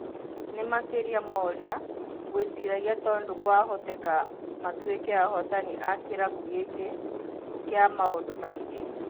Nĩmakĩria morĩa ngũĩciragia tondũ kwahoteka matũĩke ahotani a kĩrabu gĩkĩ kĩa maũndũ maingĩ.